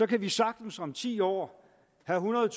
kan vi sagtens om ti år have